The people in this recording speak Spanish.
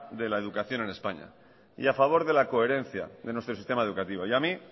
de la educación en españa y a favor de la coherencia de nuestro sistema educativo y a mí